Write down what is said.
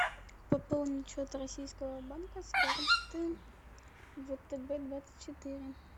пополнить счет российского банка с карты втб двадцать четыре